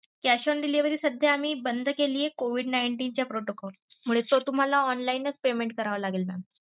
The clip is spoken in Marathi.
Cash on delivery सध्या आम्ही बंद केली covid nineteen च्या protocol मुळे तर तुम्हाला online नच payment करावं लागेल mam.